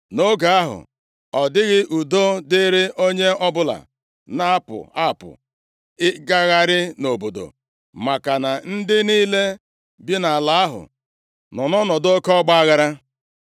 Nʼoge ahụ, ọ dịghị udo dịrị onye ọbụla na-apụ apụ ịgagharị nʼobodo, maka na ndị niile bi nʼala ahụ nọ nʼọnọdụ oke ọgbaaghara.